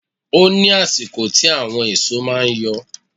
Ó ní àsìkò tí àwọn èso máa ń yọ.